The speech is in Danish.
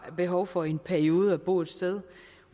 har behov for i en periode at bo et sted